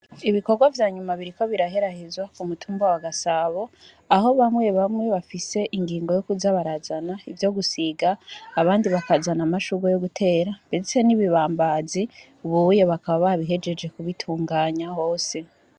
Ibikorwa vyanyuma biriko biraherahezwa kumutamba wa gasabo aho bamwe bamwe bafise ingingo yo kuza barazana ivyo gusinga, abandi bakazana amashurwa yo gutera ndetse nibibambaza bakaba bahejeje kubituganya hose.